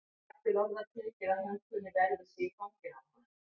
Vægt til orða tekið að hún kunni vel við sig í fanginu á honum.